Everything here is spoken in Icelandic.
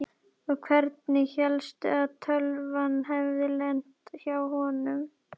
Og hvernig hélstu að tölvan hefði lent hjá honum?